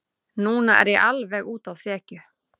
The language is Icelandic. Núna er ég alveg úti á þekju.